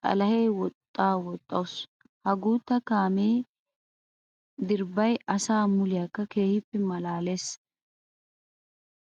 xalahe woxxa woxxawusu. Ha guuta kaame dirbbay asaa muliyakka keehippe malaalesinne huuphiya oyttiyaba.